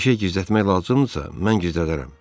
Bir şey gizlətmək lazımdırsa, mən gizlədərəm.